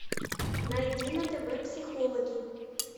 найди на тв психологи